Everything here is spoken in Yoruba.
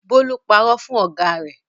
Bólú parọ́ fún ọ̀gá rẹ̀.